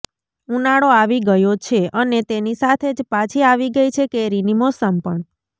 ઉનાળો આવી ગયો છે અને તેની સાથે જ પાછી આવી ગઈ છે કેરીની મોસમ પણ